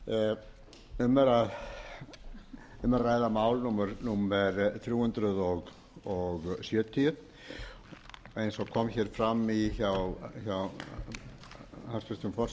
strandveiða um er að ræða mál númer þrjú hundruð sjötíu eins og kom hér fram hjá hæstvirtum forseta það var